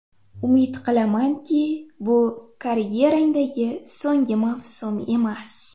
Umid qilamanki, bu karyerangdagi so‘nggi mavsum emas.